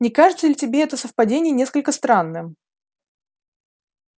не кажется ли тебе это совпадение несколько странным